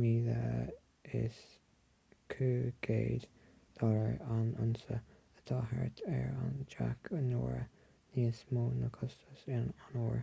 $22,500 an unsa atá thart ar deich n-uaire níos mó ná costas an óir